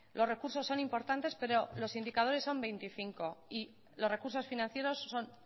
los recursos son importantes pero los indicadores son veinticinco y los recursos financieros son